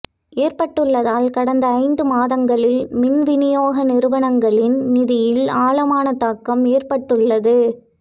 ஏற்பட்டுள்ளதால் கடந்த ஐந்து மாதங்களில் மின்விநியோக நிறுவனங்களின் நிதியில் ஆழமான தாக்கம் ஏற்பட்டுள்ளது